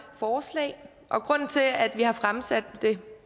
forslag og grunden til at vi har fremsat det